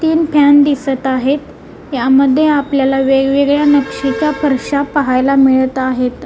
इथून फॅन दिसत आहेत यामध्ये आपल्याला वेगवेगळ्या नक्षीच्या फरश्या पहायला मिळत आहेत.